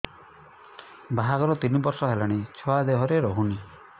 ବାହାଘର ତିନି ବର୍ଷ ହେଲାଣି ଛୁଆ ଦେହରେ ରହୁନି